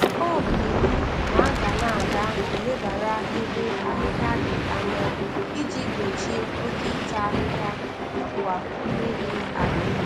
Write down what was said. ọ bụ iwu na aga na aga elebara ebe ahịhịa dị anya iji gbochie oke ịta ahịhịa nakwa mmebi ala